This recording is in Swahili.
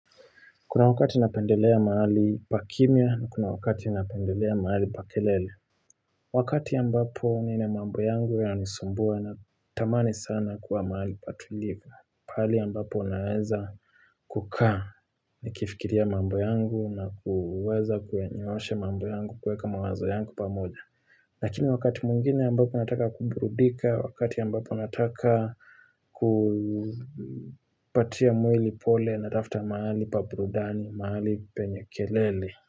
Kuna wakati inapendelea mahali pa kimya na kuna wakati inapendelea mahali pa kelele. Wakati ambapo nina mambo yangu ya nisumbua na tamani sana kuwa maali patulivwa. Pali ya mbapo naweza kukaa ni kifikiria mambo yangu na kuweza kuenyoshe mambo yangu kuweka mawazo yangu pa moja. Lakini wakati mwingine ambapo nataka kumbrudika, wakati ambapo nataka kupatia mwili pole na natafta mahali pabrudani, mahali penyekelele.